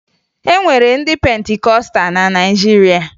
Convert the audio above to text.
E nwere ndị Pentikọsta na Naịjirịa